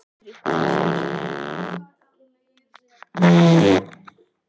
Það er enginn milli vegur til.